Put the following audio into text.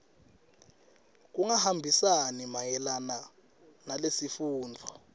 kungahambisani mayelana nalesifungo